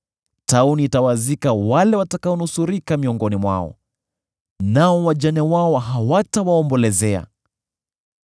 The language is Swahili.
Tauni itawazika wale watakaonusurika miongoni mwao, nao wajane wao hawatawaombolezea.